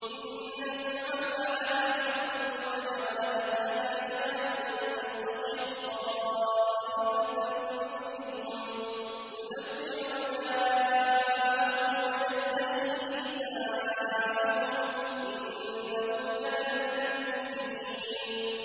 إِنَّ فِرْعَوْنَ عَلَا فِي الْأَرْضِ وَجَعَلَ أَهْلَهَا شِيَعًا يَسْتَضْعِفُ طَائِفَةً مِّنْهُمْ يُذَبِّحُ أَبْنَاءَهُمْ وَيَسْتَحْيِي نِسَاءَهُمْ ۚ إِنَّهُ كَانَ مِنَ الْمُفْسِدِينَ